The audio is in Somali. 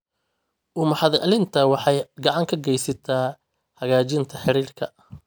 U mahadcelinta waxay gacan ka geysataa hagaajinta xiriirka.